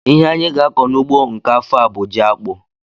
Ihe anyị ga-akọ n'ugbo nke afọ a bụ jiakpụ